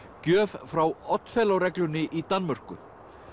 gjöf frá reglunni í Danmörku